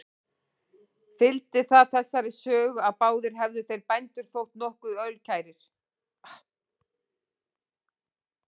Fylgdi það þessari sögu, að báðir hefðu þeir bændur þótt nokkuð ölkærir.